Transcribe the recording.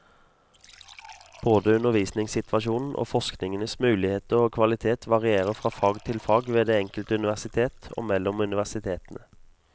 Både undervisningssituasjonen og forskningens muligheter og kvalitet varierer fra fag til fag ved det enkelte universitet, og mellom universitetene.